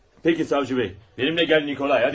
Peki savcı bəy, mənimlə gəl Nikolay, haydi.